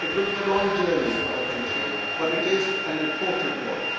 It will be a long journey for the country but it is an important one.